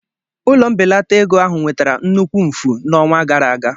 Ụlọ mbelata ego ahụ nwetara nnukwu mfu n'ọnwa gara aga.